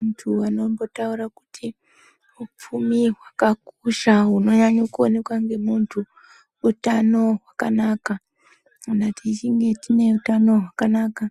Muntu anombotaura kuti hupfumi hwakakosha hunonyanye kuonekwa nemuntu utano hwakanaka , kana tichinhe tine hutano hwakanaka